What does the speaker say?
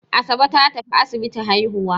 Asabe ta tafi asibiti haihuwa.